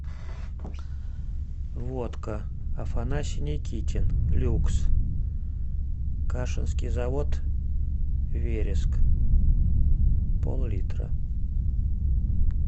водка афанасий никитин люкс кашинский завод вереск пол литра